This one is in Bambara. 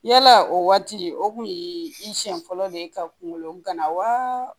Yala o waati o kun ye i siɲɛ fɔlɔ de ye ka kungolo gana wa